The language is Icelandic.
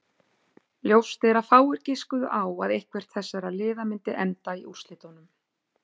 Ljóst er að fáir giskuðu á að eitthvert þessara liða myndi enda í úrslitunum.